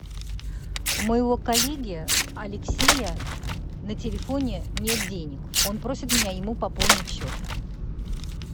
у моего коллеги алексея на телефоне нет денег он просит меня ему пополнить счет